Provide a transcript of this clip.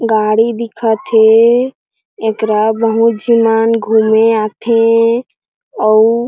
गाड़ी दिखथ हे एकरा बहुत झी मन घूमे आथे अउ --